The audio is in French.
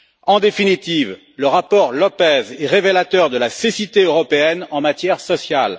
En définitive, le rapport López est révélateur de la cécité européenne en matière sociale.